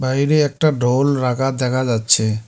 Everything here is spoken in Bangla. একটা ঢোল রাখা দেখা যাচ্ছে।